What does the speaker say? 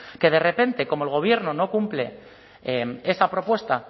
que de repente como el gobierno no cumple esa propuesta